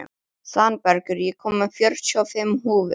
Svanbergur, ég kom með fjörutíu og fimm húfur!